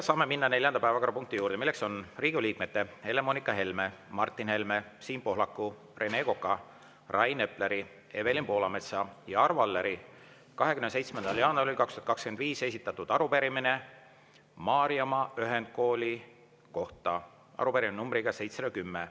Saame minna neljanda päevakorrapunkti juurde, milleks on Riigikogu liikmete Helle-Moonika Helme, Martin Helme, Siim Pohlaku, Rene Koka, Rain Epleri, Evelin Poolametsa ja Arvo Alleri 27. jaanuaril 2025 esitatud arupärimine Maarjamaa ühendkooli kohta, arupärimine nr 710.